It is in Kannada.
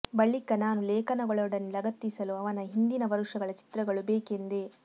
ಬಳಿಕ ನಾನು ಲೇಖನಗಳೊಡನೆ ಲಗತ್ತಿಸಲು ಅವನ ಹಿಂದಿನ ವರುಷಗಳ ಚಿತ್ರಗಳು ಬೇಕೆಂದೆ